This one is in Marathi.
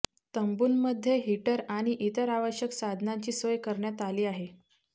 तंबूंमध्ये हीटर आणि इतर आवश्यक साधनांची सोय करण्यात आली आहे